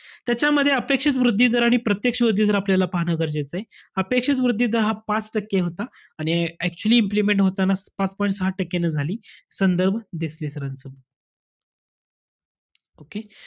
त्याच्यामध्ये अपेक्षित वृद्धी दर आणि प्रत्यक्ष वृद्धी दर आपल्याला पाहणं गरजेचंय. अपेक्षित वृद्धी दर हा पाच टक्के होता. आणि actually implement होताना पाच point सहा टक्क्यांनी झाली. संदर्भ देसले sir च book